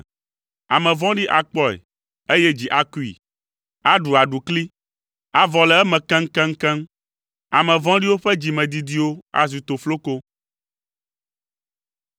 Ame vɔ̃ɖi akpɔe, eye dzi akui, aɖu aɖukli, avɔ le eme keŋkeŋkeŋ. Ame vɔ̃ɖiwo ƒe dzimedidiwo azu tofloko.